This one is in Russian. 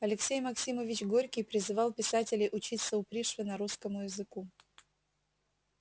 алексей максимович горький призывал писателей учиться у пришвина русскому языку